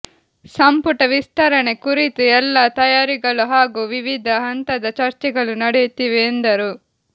ಸಂಪುಟ ವಿಸ್ತರಣೆ ಕುರಿತು ಎಲ್ಲಾ ತಯಾರಿಗಳು ಹಾಗೂ ವಿವಿಧ ಹಂತದ ಚರ್ಚೆಗಳು ನಡೆಯುತ್ತಿವೆ ಎಂದರು